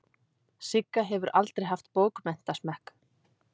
Sigga hefur aldrei haft bókmenntasmekk.